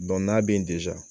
n'a be yen